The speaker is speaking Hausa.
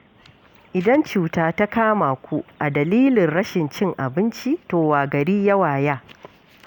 Idan cuta ta kama ku a dalilin rashin cin abinci, to wa gari ya waya?